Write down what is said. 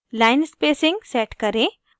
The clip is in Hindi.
line spacing set करें